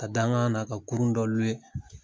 Ka dangan na ka kurun dɔ